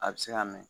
A bɛ se ka mɛn